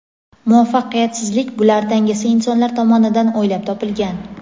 muvaffaqiyatsizlik bular dangasa insonlar tomonidan o‘ylab topilgan.